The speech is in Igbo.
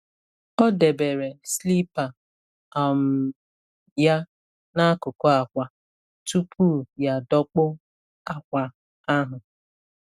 Ọ debere slipa um ya n’akụkụ akwa tupu ya adọkpụ akwa ahụ.